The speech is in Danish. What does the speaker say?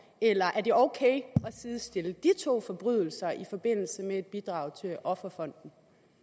eller er det ok at sidestille de to forbrydelser i forbindelse med et bidrag til offerfonden